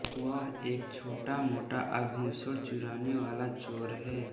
वह एक छोटामोटा आभूषण चुराने वाला चोर है